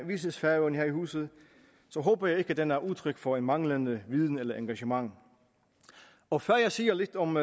vises færøerne her i huset håber jeg ikke at den er udtryk for manglende viden eller engagement og før jeg siger lidt om